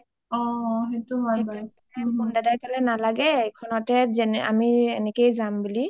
মুন দাদাই কলে নালাগে এইখনতেই আমি এনেকে যাম বুলি